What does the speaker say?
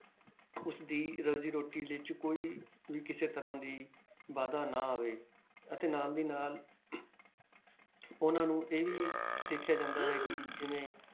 ਉਸਦੀ ਰੋਜ਼ੀ ਰੋਟੀ ਵਿੱਚ ਕੋਈ ਵੀ ਕਿਸੇ ਤਰ੍ਹਾਂ ਦੀ ਵਾਧਾ ਨਾ ਆਵੇ ਅਤੇ ਨਾਲ ਦੀ ਨਾਲ ਉਹਨਾਂ ਨੂੰ ਇਹ ਵੀ ਦੇਖਿਆ ਜਾਂਦਾ ਹੈ ਕਿ ਜਿਵੇਂ